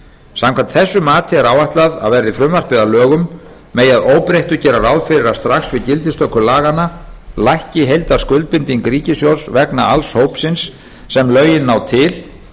samkvæmt þessu mati er áætlað að verði frumvarpið að lögum megi að öðru óbreyttu gera ráð fyrir að strax við gildistöku laganna lækki heildarskuldbinding ríkissjóðs vegna alls hópsins sem lögin ná til